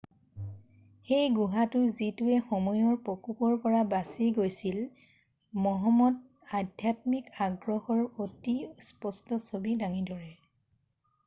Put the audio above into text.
"সেই গুহাটো, যিটোৱে সময়ৰ প্ৰকোপৰ পৰা বাছি গৈছিল মহম্মদৰ আধ্যাত্মিক আগ্ৰহৰ অতি স্পষ্ট ছবি দাঙি ধৰে।""